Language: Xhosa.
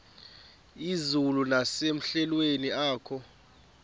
izulu nasemehlweni akho